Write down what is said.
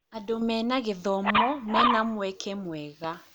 Andũ mena gĩthomo mena mweke mwega.